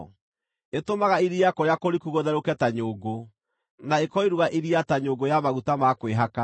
Ĩtũmaga iria kũrĩa kũriku gũtherũke ta nyũngũ, na ĩkoiruga iria ta nyũngũ ya maguta ma kwĩhaka.